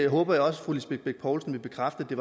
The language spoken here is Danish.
hundrede og tretten der